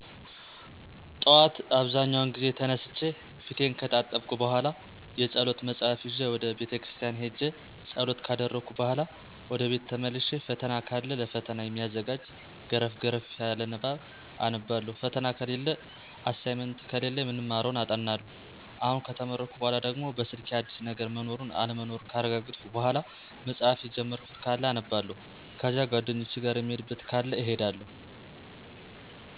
ጠዋት አብዛኛውን ጊዜ ተነስቼ ፌቴን ከታጠብኩ በኋላ የጸሎት መጽሐፍ ይዤ ወደ ቤተ ክርስቲያን ሄጄ ጸሎት ካደረስኩ በኋላ ወደቤት ተመልሼ ፈተና ካለ ለፈተና የሚያዘጋጅ ገረፍ ገረፍ ንባብ አነባለሁ ፈተና ከሌለ አሳይመንት ከሌለ የምንማረውን አጠናለሁ። አሁን ከተመረቅሁ በኋለ ደግሞ በስልኬ አዲስ ነገር መኖሩን አለመኖሩን ካረጋገጥሁ በኋላ መጽሐፍ የጀመርኩት አለ አነባለሁ። ከዚያ ጓደኞች ጋር የምንሄድበት ካለ እንሄዳለን።